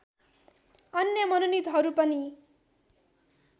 अन्य मनोनितहरू पनि